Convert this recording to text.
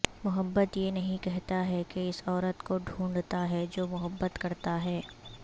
محبت یہ نہیں کہتا ہے کہ اس عورت کو ڈھونڈتا ہے جو محبت کرتا ہے